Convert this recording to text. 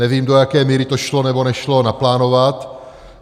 Nevím, do jaké míry to šlo, nebo nešlo naplánovat.